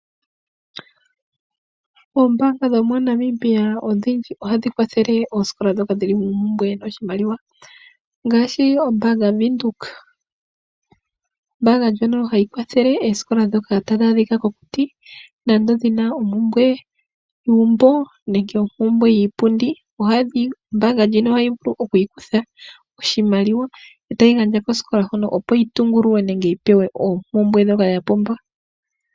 Oombanga dho moNamibia odhindji ohadhi kwathele oosikola dhoka dhili mompumbwe yoshimaliwa. Ngaashi ombaanga yaVenduka. Ombanga ndjono hayi kwathelele oosikola dhono tadhi adhika mokuti. Nante dhina ompumpwe yuumbo nenge ompumbwe yiipundi. Ombanga ndjino ohayi vulu oku ikutha oshimaliwa etayi gandja kosikola ndjino opo yi tungululwe nenge yi pewe oompumbwe dhoka yapumbwa.